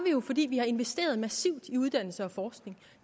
jo fordi vi har investeret massivt i uddannelse og forskning